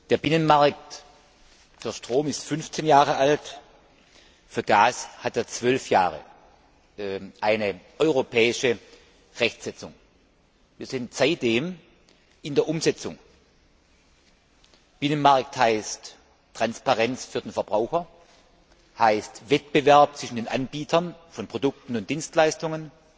Der Binnenmarkt für Strom ist 15 Jahre alt, für Gas gibt es seit 12 Jahren eine europäische Rechtsetzung. Wir sind seitdem in der Umsetzung. Binnenmarkt heißt Transparenz für den Verbraucher, heißt Wettbewerb zwischen den Anbietern von Produkten und Dienstleistungen